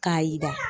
K'a yira